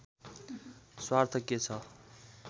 स्वार्थ के छ